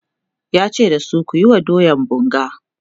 yace da su "kuyi wa doyan bunga!"